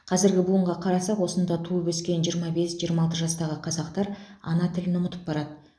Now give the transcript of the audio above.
қазіргі буынға қарасақ осында туып өскен жиырма бес жиырма алты жастағы қазақтар ана тілін ұмытып барады